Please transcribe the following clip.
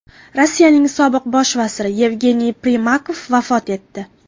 Rossiyaning sobiq bosh vaziri Yevgeniy Primakov vafot etdi.